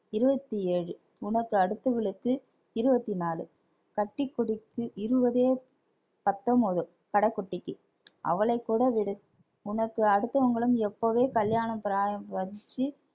இருபத்தி ஏழு உனக்கு அடுத்தவளுக்கு இருபத்தி நாலு கட்டி கொடுத்து இருவது பத்தொன்பது கடைக்குட்டிக்கு அவளைக் கூட விடு உனக்கு அடுத்தவங்களும் எப்பவே கல்யாணம் பிராயம் கழிச்சி